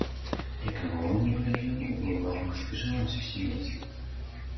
и как в воду глядел к банку спешило всё семейство